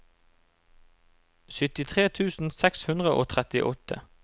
syttitre tusen seks hundre og trettiåtte